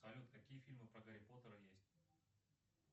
салют какие фильмы про гарри поттера есть